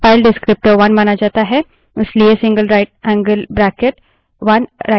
यदि इसे हटा देते है तो standard output file डिस्क्रीप्टर1 माना जाता है